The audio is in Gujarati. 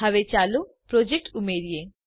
હવે ચાલો પ્રોજેક્ટ ઉમેરીએ